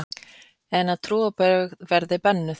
En að trúarbrögð verði bönnuð!